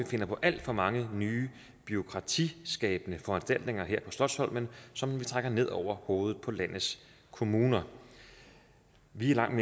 finder på alt for mange nye bureaukratiskabende foranstaltninger her på slotsholmen som vi trækker ned over hovedet på landets kommuner vi er langt